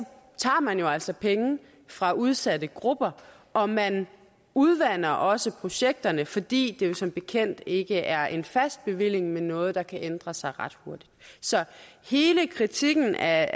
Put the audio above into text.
tager man altså penge fra udsatte grupper og man udvander også projekterne fordi det jo som bekendt ikke er en fast bevilling men noget der kan ændre sig ret hurtigt så hele kritikken af